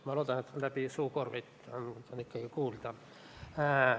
Ma loodan, et läbi suukorvi on mind ikka kuulda.